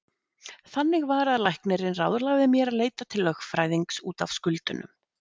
Þannig var að læknirinn ráðlagði mér að leita til lögfræðings út af skuldunum.